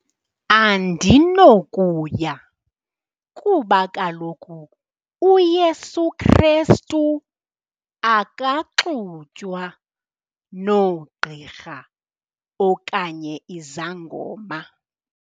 Andinokuya kuba kaloku uYesu Krestu akaxutywa noogqirha okanye izangoma.